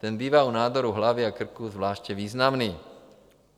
Ten bývá u nádorů hlavy a krku zvláště významný.